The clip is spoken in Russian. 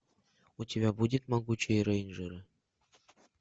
у тебя будет могучие рейнджеры